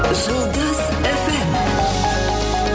жұлдыз эф эм